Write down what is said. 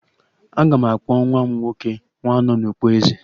Aga m akpọ nwa m nwoke 'Nwanọnukpo Eze'